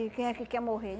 E quem é que quer morrer?